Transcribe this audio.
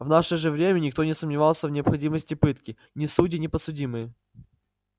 в наше же время никто не сомневался в необходимости пытки ни судьи ни подсудимые